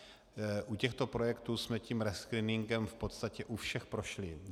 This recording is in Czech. U těchto projektů jsme tím rescreeningem v podstatě u všech prošli.